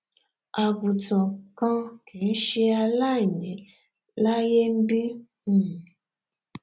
àgùntàn kan kìí ṣe aláìní láíyé nbí um